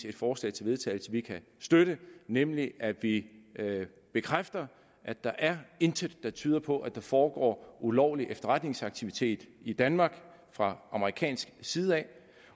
et forslag til vedtagelse vi kan støtte nemlig at vi bekræfter at der intet er der tyder på at der foregår ulovlig efterretningsaktivitet i danmark fra amerikansk side